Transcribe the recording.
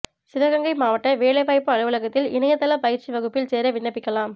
சிவகங்கை மாவட்ட வேலைவாய்ப்பு அலுவலகத்தில் இணையதள பயிற்சி வகுப்பில் சேர விண்ணப்பிக்கலாம்